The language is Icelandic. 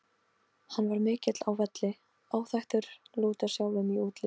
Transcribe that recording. Hann var mikill á velli, áþekkur Lúter sjálfum í útliti.